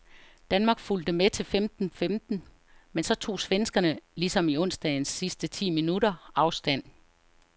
Danmark fulgte med til femten femten , men så tog svenskerne ligesom i onsdagens sidste ti minutter afstand.